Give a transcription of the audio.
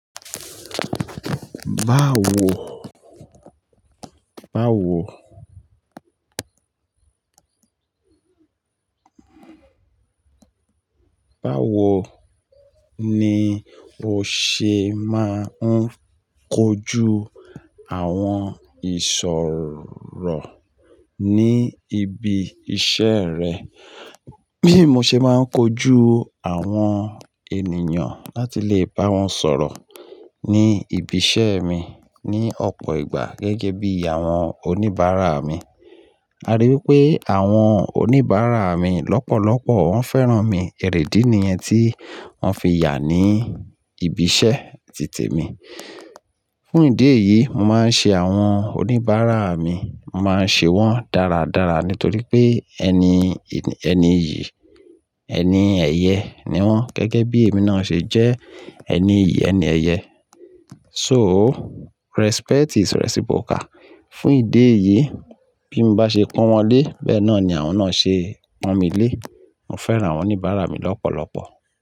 Báwo, báwo, báwo ni o ṣe máa ń kojú àwọn ìsọ̀rọ̀ ní ibi iṣẹ́ rẹ? Bí mo ṣe máa ń kojú àwọn ènìyàn láti lè bá wọn sọ̀rọ̀ ní ibi iṣẹ́ mi ní ọ̀pọ̀ ìgbà gẹ́gẹ́ bí àwọn oníbàárà mi. A rí wipé àwọn oníbàárà mi lọ́pọ̀lọpọ̀ wọn fẹ́ràn mi, ẹrẹ̀dí nìyẹn tí wọ́n fi yà ní ibi iṣẹ́ tì temi. Fún ìdí èyí, mo máa ń ṣe àwọn oníbàárà mi, mo máa ń ṣe wọ́n dáradára nítorí pé ẹni, ẹni iyì, ẹni ẹyẹ ni wọ́n gẹ́gẹ́ bí èmi náà ṣe jẹ́ ẹni iyì, ẹni ẹyẹ. So respect is reciprocal. Fún ìdí èyí, bí mo bá ṣe pọ́n wọn lé, bẹ́ẹ̀ náà ni àwọn náà ṣe pọ́n mi lé. Mo fẹ́ràn àwọn oníbàárà mi lọ́pọ̀lọpọ̀.